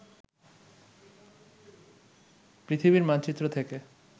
পৃথিবীর মানচিত্র থেকে